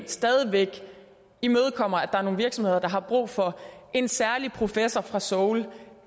stadig væk imødekommer at der er nogle virksomheder der har brug for en særlig professor fra seoul